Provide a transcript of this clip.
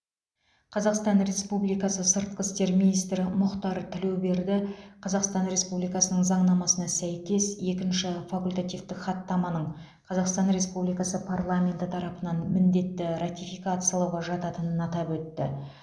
қазақстан республикасы сыртқы істер министрі мұхтар тілеуберді қазақстан республикасының заңнамасына сәйкес екінші факультативтік хаттаманың қазақстан республикасы парламенті тарапынан міндетті ратификациялауға жататынын атап өтті